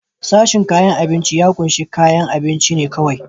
Sashen kayan abinci ya kunshi kayan abunci ne kawai.